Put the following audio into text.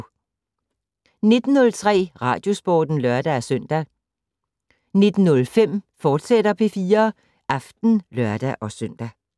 19:03: Radiosporten (lør-søn) 19:05: P4 Aften, fortsat (lør-søn)